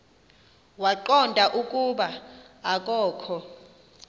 waqonda ukuba akokho